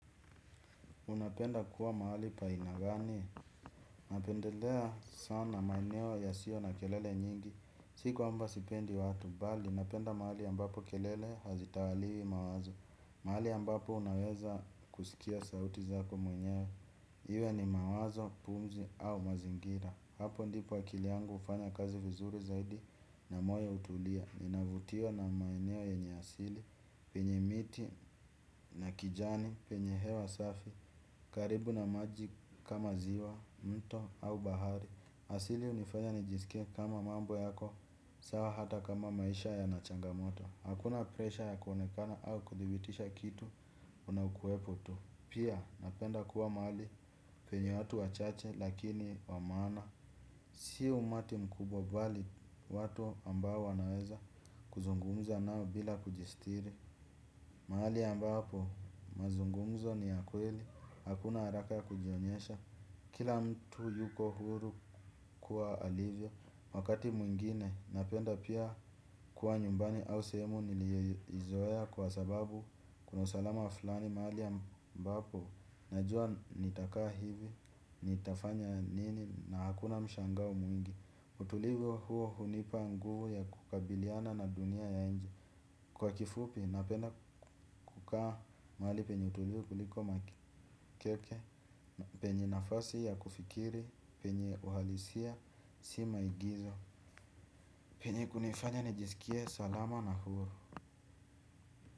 Unapenda kuwa mahali pa aina gani. Napendelea sana maeneo yasiyo na kelele nyingi. Si kwamba sipendi watu bali. Napenda mahali ambapo kelele hazitawaliwi mawazo. Mahali ambapo unaweza kusikia sauti zako mwenyewe. Iwe ni mawazo, pumzi au mazingira. Hapo ndipo akili yangu hufanya kazi vizuri zaidi na moyo hutulia. Ninavutiwa na maeneo yenye asili. Penye miti na kijani. Penye hewa safi karibu na maji kama ziwa, mto au bahari. Asili hunifanya nijisike kama mambo yako sawa hata kama maisha yana changamoto. Hakuna presha ya kuonekana au kudibitisha kitu. Unaukuwepo tu. Pia napenda kuwa mahali penye watu wachache lakini wamaana. Si umati mkubwa bali watu ambao wanaweza kuzungumza nao bila kujistiri. Mahali ambapo mazungumzo ni ya kweli. Hakuna haraka ya kujionyesha. Kila mtu yuko huru kukua alivyo, wakati mwingine napenda pia kuwa nyumbani au sehemu niliyo izoea kwa sababu kuna usalama flani mahali ambapo najua nitakaa hivi, nitafanya nini na hakuna mshangao mwingi. Utulivu huo hunipa nguvu ya kukabiliana na dunia ya nje. Kwa kifupi napenda kukaa mahali penye utulivu kuliko makeke. Penye nafasi ya kufikiri, penye uhalisia si maigizo. Penye kunaifanya nijisikie salama na huru.